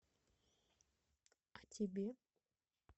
а тебе